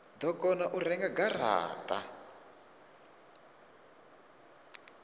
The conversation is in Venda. do kona u renga garata